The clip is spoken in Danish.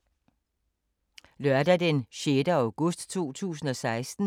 Lørdag d. 6. august 2016